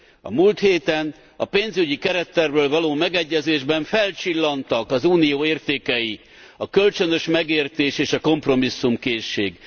A múlt héten a pénzügyi kerettervről való megegyezésben felcsillantak az Unió értékei a kölcsönös megértés és a kompromisszumkészség.